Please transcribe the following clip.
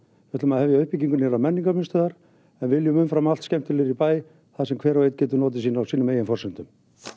við ætlum að hefja uppbyggingu nýrrar menningarmiðstöðvar en viljum umfram allt skemmtilegri bæ þar sem hver og einn getur notið sín á sínum eigin forsendum